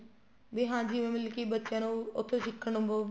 ਹਾਂ ਜਿਵੇਂ ਮਤਲਬ ਕੀ ਬੱਚਿਆ ਨੂੰ ਉੱਥੇ ਸਿੱਖਣ ਨੂੰ